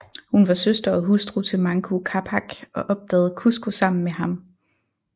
Hun var søster og hustru til Manco Capac og opdagede Cusco sammen med ham